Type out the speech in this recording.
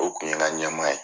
O kun ye n ka ɲɛmaa ye.